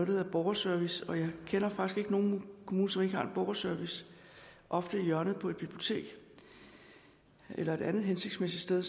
hedder borgerservice jeg kender faktisk ikke nogen kommuner som ikke har en borgerservice ofte i hjørnet på et bibliotek eller et andet hensigtsmæssigt sted